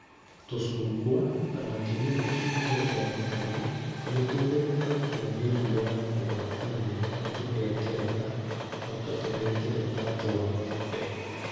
Tũcungwa, na makĩria tũcungwa twa mathagu, nĩ tũthũrũkagia mĩrimũ ya kũgwatanio nĩ tũhengereta (o ta tũhengereta twa ng'ombe)